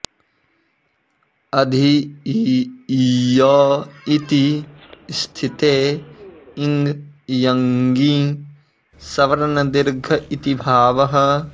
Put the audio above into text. अधि इ ईय इति स्थिते इङ इयङि सवर्णदीर्घ इति भावः